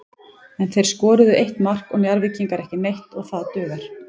En þeir skoruðu eitt mark og Njarðvíkingar ekki neitt og það dugar.